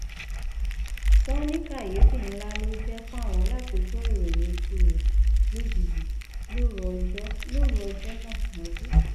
wọn ní kàyééfì ńlá ló jẹ fáwọn láti gbọ ìròyìn ikú rẹ lójijì lóru ọjọ lóru ọjọ náà mọjú